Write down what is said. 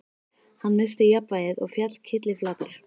Hann missti jafnvægið og féll kylliflatur.